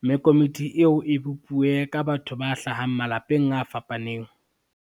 mme komiti eo e bopuwe ka batho ba hlahang malapeng a fapaneng.